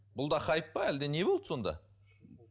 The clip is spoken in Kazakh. бұл да хайп па әлде не болды сонда